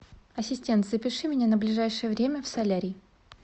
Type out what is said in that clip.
ассистент запиши меня на ближайшее время в солярий